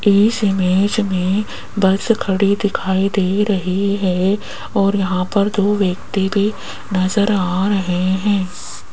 इस इमेज में बस खड़ी दिखाई दे रही है और यहां पर दो व्यक्ति भी नजर आ रहे हैं।